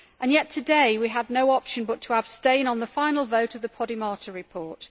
Yet today we had no option but to abstain on the final vote on the Podimata report.